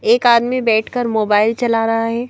एक आदमी बैठकर मोबाइल चला रहा है।